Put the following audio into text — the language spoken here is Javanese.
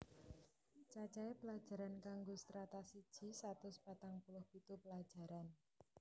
Cacahe pelajaran kanggo Strata siji satus patang puluh pitu pelajaran